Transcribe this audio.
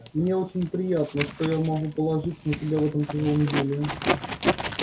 мне очень приятно что я могу положиться на тебя в этом тяжёлом деле